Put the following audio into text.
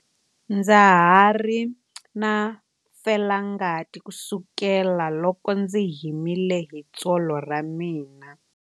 Ndza ha ri na felangati kusukela loko ndzi himile hi tsolo ra mina.